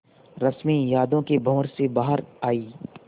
रश्मि यादों के भंवर से बाहर आई